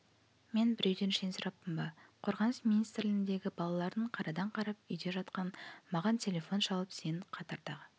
мен біреуден шен сұраппын ба қорғаныс министірлігіндегі балалардың қарадан-қарап үйде жатқан маған телефон шалып сен қатардағы